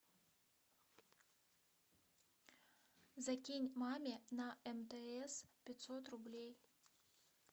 закинь маме на мтс пятьсот рублей